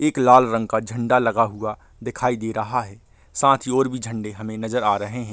एक लाल रंग का झण्डा लगा हुआ दिखाई दे रहा है साथ ही और भी झंडे हमें नजर आ रहें हैं।